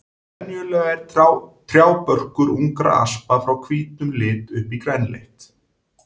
Venjulega er trjábörkur ungra aspa frá hvítum lit upp í grænleitt.